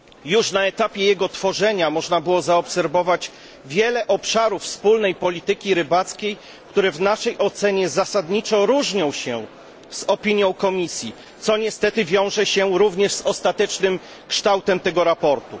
Już na etapie jego tworzenia można było zaobserwować wiele obszarów wspólnej polityki rybołówstwa, które w naszej ocenie zasadniczo różnią się od opinii Komisji, co niestety wiąże się również z ostatecznym kształtem tego sprawozdania.